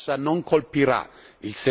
dall'Unione europea.